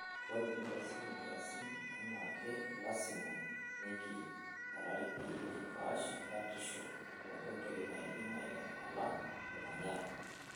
Ore tenikiasishore nkiasin enake, lasima kiniki borari peyie kipaash batisho onkoitoi naidim aitanyamala olmanyara.